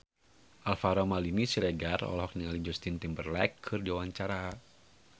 Alvaro Maldini Siregar olohok ningali Justin Timberlake keur diwawancara